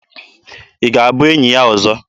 Ị ga-abụ enyi ya ọzọ?